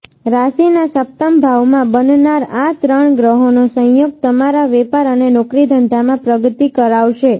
રાશિના સપ્તમભાવમાં બનનાર આ ત્રણ ગ્રહોનો સંયોગ તમારા વેપાર અને નોકરી ધંધામા પ્રગતિ કરાવશે